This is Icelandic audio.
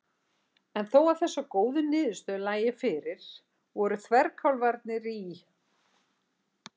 En þó að þessar góðu niðurstöður lægju fyrir voru þverkálfarnir í